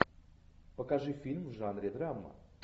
покажи фильм в жанре драма